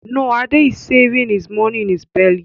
No, Ade is saving hios money in his belly